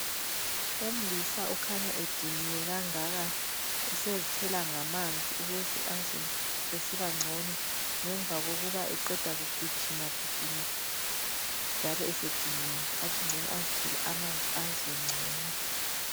Umlisa ukhanya ediniwe kangaka. Usezithela ngamanzi, ukuze azwe esibangcono, ngemva kokuba eqeda kugijigijima.,njalo esediniwe. Athi ngcono azithele amanzi azwe ngcono.